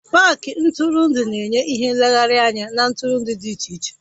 Pááki ntụrụndụ na-enye ìhè nlegharị anya na ntụrụndụ dị iche iche